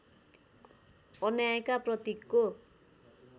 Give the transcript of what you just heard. अन्यायका प्रतीकको